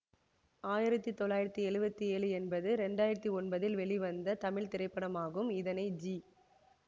ஆயிரத்தி தொள்ளாயிரத்தி எழுவத்தி ஏழு என்பது இரண்டு ஆயிரத்தி ஒன்பதில் வெளிவந்த தமிழ் திரைப்படமாகும் இதனை ஜி